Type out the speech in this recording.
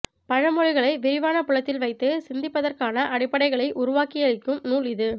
பழமொழிகளை விரிவான புலத்தில் வைத்து சிந்திப்பதற்கான அடிப்படைகளை உருவாக்கியளிக்கும் நூல் இது